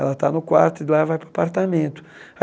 Ela está no quarto e de lá vai para o apartamento.